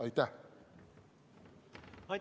Aitäh!